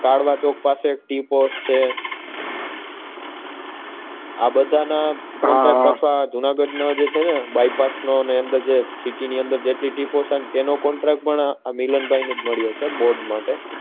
કાલાવડ ચોક પાસે એક tea pot છે આ બધા ના હમ જુનાગઢ નો જે છે ને જુનાગઢ ની જે city ની અંદર જે tea pot નો contract પણ આ મિલનભાઈને મળ્યો છે આ બોર્ડ માટે